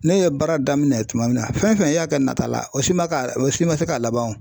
Ne ye baara daminɛ tuma min na fɛn fɛn y'a kɛ nata la o si ma o si ma se k'a laban o